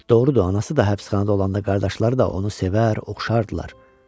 Doğrudur, anası da həbsxanada olanda qardaşları da onu sevər, oxşardılar.